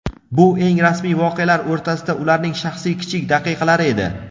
Bu eng rasmiy voqealar o‘rtasida ularning shaxsiy kichik daqiqalari edi.